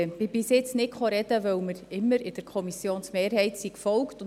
Bisher habe ich nicht gesprochen, weil wir immer der Kommissionsmehrheit gefolgt sind.